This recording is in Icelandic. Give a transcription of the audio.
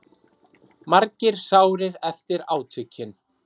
Margir sárir eftir átökin